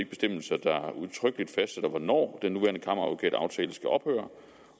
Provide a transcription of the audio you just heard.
bestemmelser der udtrykkeligt fastsætter hvornår den nuværende kammeradvokataftale skal ophøre